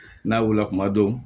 N'a wulila kuma dɔ